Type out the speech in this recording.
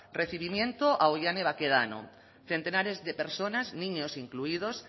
recibimiento a oihane bakedano centenares de personas niños incluidos